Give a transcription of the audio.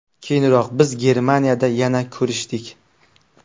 Keyinroq biz Germaniyada yana ko‘rishdik.